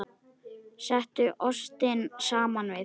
Settu ostinn saman við.